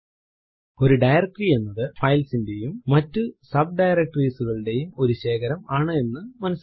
ഒരു ഡയറക്ടറി എന്നത് ഫൈൽസ് ന്റെയും മറ്റു ഡയറക്ടറീസ് കളുടെയും ഒരു ശേഖരം ആണ് എന്ന് മനസിലാക്കാം